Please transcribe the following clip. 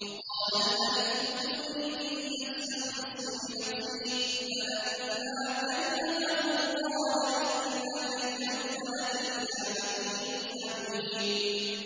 وَقَالَ الْمَلِكُ ائْتُونِي بِهِ أَسْتَخْلِصْهُ لِنَفْسِي ۖ فَلَمَّا كَلَّمَهُ قَالَ إِنَّكَ الْيَوْمَ لَدَيْنَا مَكِينٌ أَمِينٌ